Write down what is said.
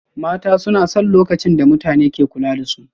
Mata suna son lokacin da mutane ke kula da su